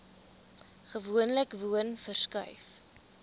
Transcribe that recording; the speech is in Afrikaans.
gewoonlik woon verskuif